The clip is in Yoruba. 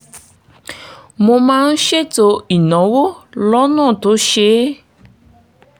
mo máa ń ṣètò ìnáwó lọ́nà tó ṣeé